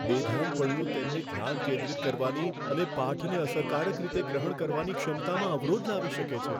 બેધ્યાનપણું તેમની ધ્યાન કેન્દ્રિત કરવાની અને પાઠને અસરકારક રીતે ગ્રહણ કરવાની ક્ષમતામાં અવરોધ લાવી શકે છે.